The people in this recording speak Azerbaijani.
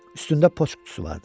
Üstündə poçt qutusu vardı.